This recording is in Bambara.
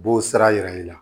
B'o sira yira i la